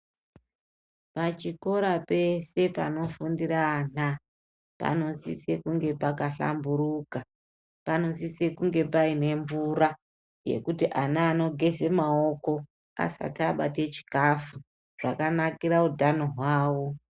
Pachikora pese panofundire ana, panosise kunge pakahlamburuka. Panosise kunge paine mvura yekuti ana anogeze maoko, asati abate chikafu, zvakanakira utano hwavo.